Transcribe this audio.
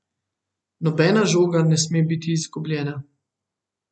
Nobena žoga ne sme biti izgubljena.